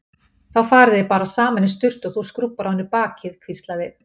Þá farið þið bara saman í sturtu og þú skrúbbar á henni bakið hvíslaði